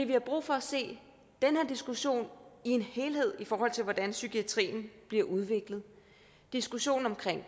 vi har brug for at se den her diskussion i en helhed i forhold til hvordan psykiatrien bliver udviklet diskussionen omkring